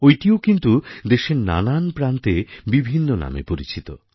ঐটিও কিন্তু দেশের নানা প্রান্তে বিভিন্ন নামে পরিচিত